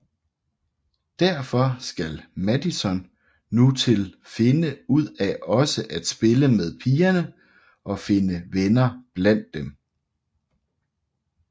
Derfor skal Madison nu til finde ud af også at spille med pigerne og finde venner blandt dem